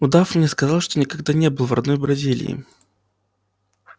удав мне сказал что никогда не был в родной бразилии